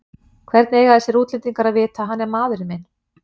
Hvernig eiga þessir útlendingar að vita að hann er maðurinn minn?